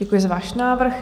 Děkuji za váš návrh.